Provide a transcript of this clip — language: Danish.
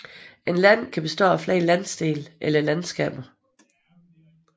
Et land kan bestå af flere landsdele eller landskaber